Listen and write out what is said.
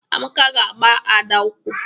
Amaka ga agba Ada ụkwụ.